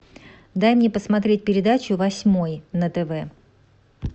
дай мне посмотреть передачу восьмой на тв